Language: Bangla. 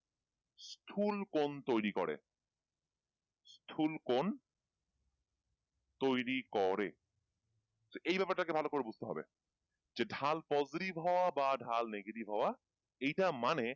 স্থূলকোণ তৈরি করে স্থূলকোণ তৈরি করে এই ব্যাপার টাকে ভালো করে বুঝতে হবে যে ঢাল positive হওয়া বা ঢাল negative হওয়া এইটা মানে,